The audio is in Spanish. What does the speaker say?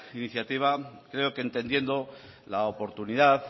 iniciativa creo que entendiendo